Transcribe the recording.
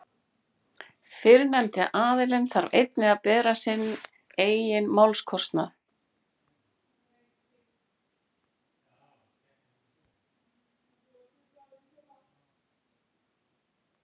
Fyrrnefndi aðilinn þarf einnig að bera sinn eigin málskostnað.